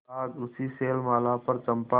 आज उसी शैलमाला पर चंपा